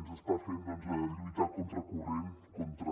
ens està fent lluitar a contracorrent contra